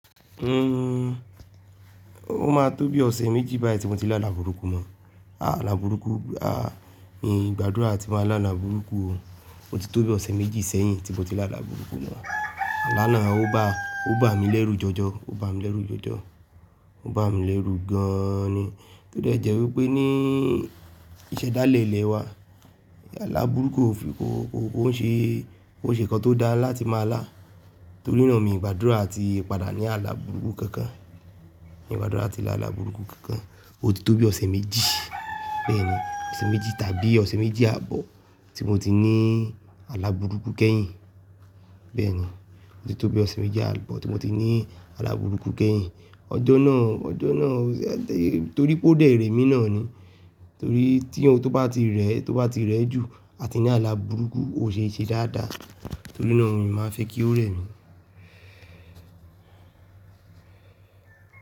Uhn, ó ma tó bí ọ̀sẹ̀ méjì báyìí tí mo ti la alà bùrúkù mọ̀. Àà ala bùrúkù, àh, mì n gbàdúrà a tí máa ń lá là bùrúkù o. O ti tó bí ọ̀sẹ̀ méjì sẹ́yìn tí mo ti la alà bùrúkù mọ̀. Ala nàá ó bá, ó bá mi lẹ́rù jọjọ, ó bá mi lẹ́rù jòjò. Ó bá mi lẹ́rù gan ni. O dẹ̀ jẹ́ wípé ní ìṣẹ̀dálẹ̀ ilẹ̀ wa, alà bùrúkù ò fi, kò, kò, kò ń ṣe, kò ṣe nǹkan tó dá láti máa lá. Torí náà miì gbàdúrà a ti padà ní alà bùrúkù kankan. Miì gbàdúrà la ti lá alà bùrúkù kankan. O ti tó bí ọ̀sẹ̀ méjì bẹ́ẹ̀ni, ọ̀sẹ̀ méjì tàbí ọ̀sẹ̀ méjì ààbọ̀ tí mo ti ní alà bùrúkù kẹ́yìn. Bẹ́ẹ̀ni, ó ti tó bí ọ̀sẹ̀ méjì ààbọ̀ tí mo ti ní alàbùrúkù kẹ́yìn. Ọjọ́ náà, ọjọ́ náà, torí pé ó dẹ̀ rẹ́ mi náà ni. Torí tí ohun tó bá ti rẹ́, tó bá ti rẹ̀ jù àti ní alà bùrúkù ò ṣe é ṣe dáadáa. Torí náà mii máa ń fẹ́ kí ó rẹ́ mi.